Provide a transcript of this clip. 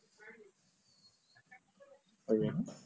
ଆଜ୍ଞା